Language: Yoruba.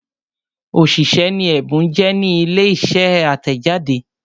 òṣìṣẹ́ ni Ẹ̀bùn jẹ́ ní ilé iṣẹ́ atẹjade.